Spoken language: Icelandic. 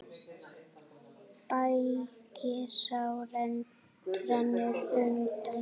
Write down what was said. Bægisá rennur undan.